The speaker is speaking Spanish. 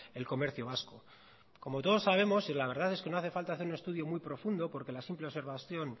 el comercio vasco como todos sabemos y la verdad es que no hace falta hacer un estudio muy profundo porque la simple observación